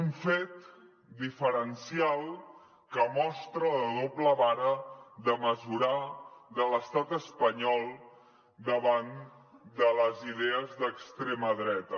un fet diferencial que mostra la doble vara de mesurar de l’estat espanyol davant de les idees d’extrema dreta